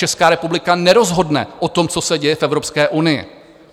Česká republika nerozhodne o tom, co se děje v Evropské unii.